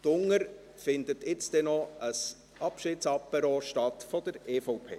Unten findet jetzt ein Abschiedsapéro der EVP statt.